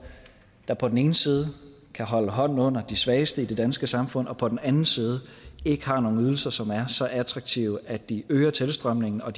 der på den ene side kan holde hånden under de svageste i det danske samfund og på den anden side ikke har nogen ydelser som er så attraktive at de øger tilstrømningen og